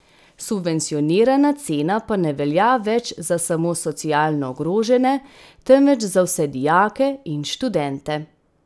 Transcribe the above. Subvencionirana cena pa ne velja več za samo socialno ogrožene, temveč za vse dijake in študente.